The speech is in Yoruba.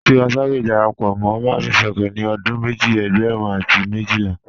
Tiwa Savage dàrápọ̀ mọ́ Mavin Records ní ọdún mẹ́jì ẹ̀gbẹ́rún àti mẹ́jìlà.